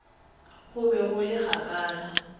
go be go le kgakala